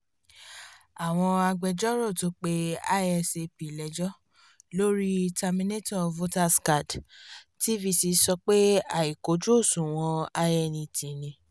àwọn agbẹjọ́rò tó pe isap lẹ́jọ́ lórí terminator voterscard tvc sọ pé àìkojú òṣùwọ̀n inet ni